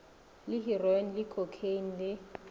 le heroine le khokheine le